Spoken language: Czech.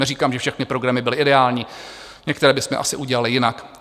Neříkám, že všechny programy byly ideální, některé bychom asi udělali jinak.